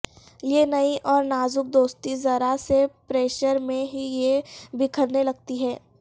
یہ نئی اور نازک دوستی ذرا سے پریشر میں ہی یہ بکھرنے لگتی ہے